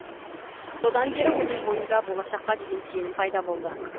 содан бері оның бойында болашаққа деген сенім пайда болды